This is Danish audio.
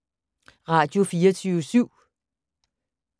Radio24syv